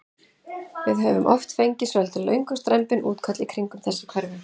Við höfum oft fengið svolítið löng og strembin útköll í kringum þessi hverfi?